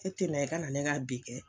E tɛna i ka na ne ka bin kɛ.